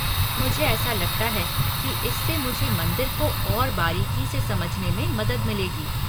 मुझे ऐसा लगता है कि इससे मुझे मंदिर को और बारीकी से समझने में मदद मिलेगी।